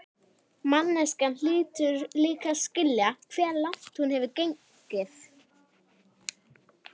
Manneskjan hlýtur líka að skilja hve langt hún hefur gengið.